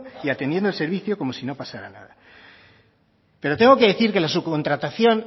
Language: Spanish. y atendiendo el servicio como si no pasara nada pero tengo que decir que la subcontratación